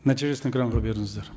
нәтижесін экранға беріңіздер